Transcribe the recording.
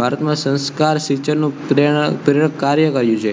ભારતમાં સંસ્કાર સિંચનનુ પ્રેરક કાર્ય કયું છે